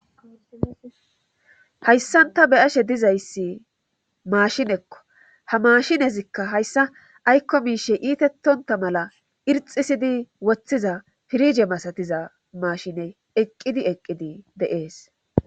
hayssanta be ashe dizayssi maashinekko ha maashinezikka hayssa aykko miishe iitettonta mala irxisidi woththiza pirige masatiza maashine eqqidi eqqidi deees